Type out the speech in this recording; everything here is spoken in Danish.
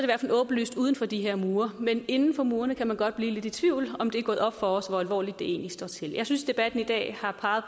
åbenlyst uden for de her mure men inden for murene kan man godt blive lidt i tvivl om det er gået op for os hvor alvorligt det egentlig står til jeg synes debatten i dag har